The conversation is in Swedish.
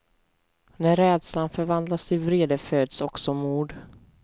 När rädslan förvandlas till vrede föds också mod.